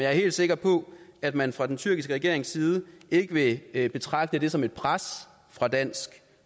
er helt sikker på at man fra den tyrkiske regerings side ikke vil betragte det som et pres fra dansk